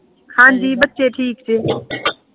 ਹਾਂਜੀ ਬੱਚੇ ਠੀਕ ਜੇ